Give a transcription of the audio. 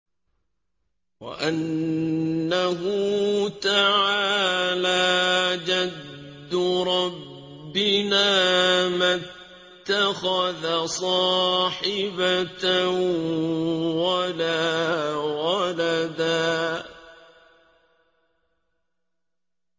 وَأَنَّهُ تَعَالَىٰ جَدُّ رَبِّنَا مَا اتَّخَذَ صَاحِبَةً وَلَا وَلَدًا